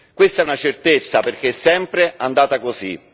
Questa è una certezza, perché è sempre andata così.